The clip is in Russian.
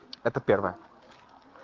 это первое